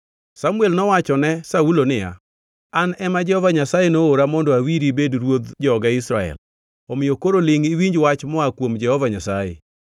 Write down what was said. Samuel nowachone ne Saulo niya, “An ema Jehova Nyasaye noora mondo awiri ibed ruodh joge Israel; omiyo koro lingʼ iwinj wach moa kuom Jehova Nyasaye.